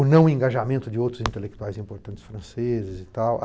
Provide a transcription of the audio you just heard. O não engajamento de outros intelectuais importantes franceses e tal